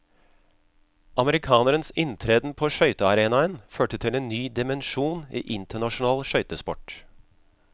Amerikanerens inntreden på skøytearenaen førte til en ny dimensjon i internasjonal skøytesport.